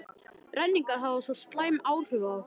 renningar hafa svo slæm áhrif á okkur.